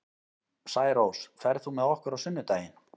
Særós, ferð þú með okkur á sunnudaginn?